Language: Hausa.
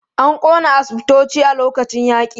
An ƙona asibitoci a lokacin yaƙi.